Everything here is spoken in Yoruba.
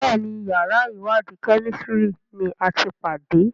Béèni yàrá iwadi Kẹ́mísìrì ní àti pàdé.